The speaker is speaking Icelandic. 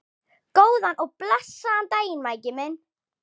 Góðan og blessaðan daginn, Maggi minn.